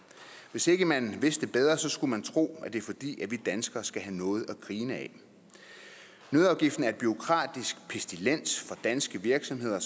hvis ikke man vidste bedre skulle man tro at det er fordi vi danskere skal have noget at grine ad nøddeafgiften er en bureaukratisk pestilens for danske virksomheder og